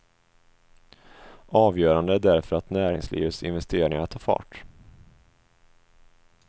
Avgörande är därför att näringslivets investeringar tar fart.